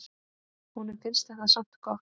Honum finnst þetta samt gott.